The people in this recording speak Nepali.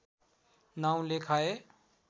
नाउँ लेखाए